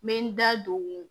N bɛ n da don